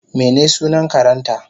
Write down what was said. mene sunan karenta?